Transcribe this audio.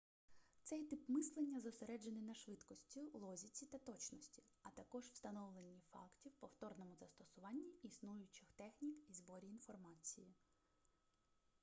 цей тип мислення зосереджений на швидкості логіці та точності а також встановленні фактів повторному застосуванні існуючих технік і зборі інформації